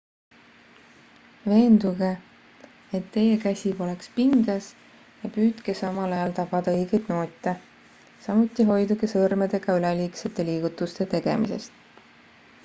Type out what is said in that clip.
veenduge et teie käsi poleks pinges ja püüdke samal ajal tabada õigeid noote samuti hoiduge sõrmedega üleliigsete liigutuste tegemisest